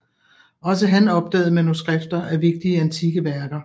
Også han opdagede manuskripter af vigtige antikke værker